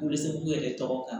U bɛ se k'u yɛrɛ tɔgɔ kan